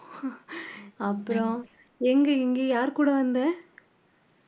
அப்புறம் எங்க இங்க யார் கூட வந்த